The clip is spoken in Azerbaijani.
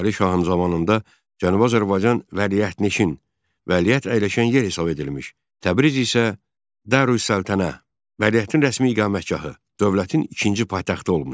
Fətəli şahın zamanında Cənubi Azərbaycan Vəliəhtnişin, Vəliəht əyləşən yer hesab edilmiş, Təbriz isə Darüssəltənə, Vəliəhtin rəsmi iqamətgahı, dövlətin ikinci paytaxtı olmuşdu.